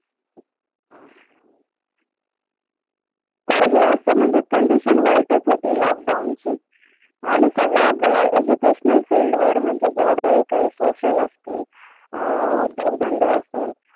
म्हणजे condition वाईटच होती lockdown ची आणि सगळ्यात educational field वर म्हणजे जेवढ्या हि काही social असतील, अं उद्योग धंदे असेल